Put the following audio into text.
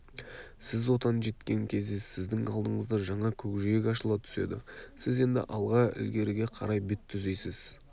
сіз отан жеткен кезде сіздің алдыңызда жаңа көкжиек ашыла түседі сіз енді алға ілгеріге қарай бет түзейсіз